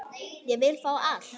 Ég vil fá allt.